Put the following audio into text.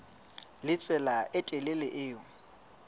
le tsela e telele eo